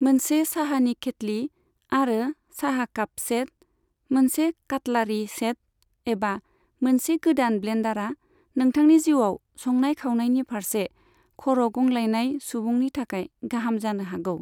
मोनसे साहानि खेथ्लि आरो साहा काप सेट, मोनसे खाटलारि सेट, एबा मोनसे गोदान ब्लेन्दारा नोंथांनि जिउआव संनाय खावनायनि फारसे खर' गंग्लायनाय सुबुंनि थाखाय गाहाम जानो हागौ।